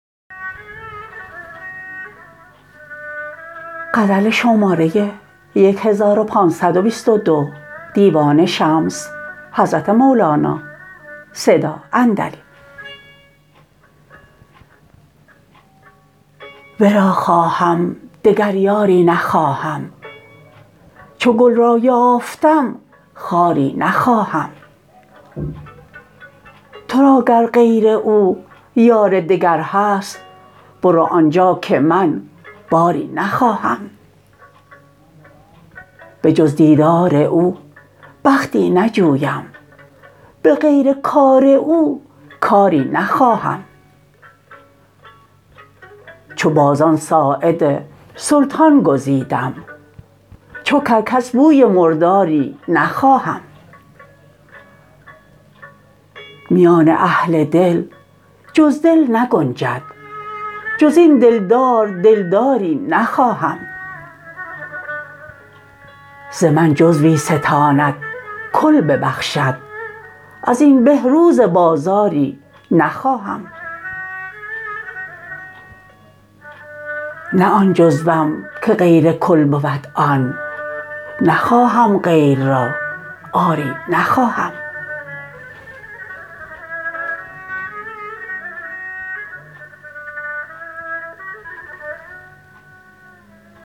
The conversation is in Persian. ورا خواهم دگر یاری نخواهم چو گل را یافتم خاری نخواهم تو را گر غیر او یار دگر هست برو آن جا که من باری نخواهم بجز دیدار او بختی نجویم به غیر کار او کاری نخواهم چو بازان ساعد سلطان گزیدم چو کرکس بوی مرداری نخواهم میان اهل دل جز دل نگنجد جز این دلدار دلداری نخواهم ز من جزوی ستاند کل ببخشد از این به روز بازاری نخواهم نه آن جزوم که غیر کل بود آن نخواهم غیر را آری نخواهم